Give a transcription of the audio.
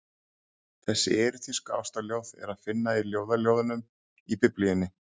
Þessi erótísku ástarljóð er að finna í Ljóðaljóðunum í Biblíunni.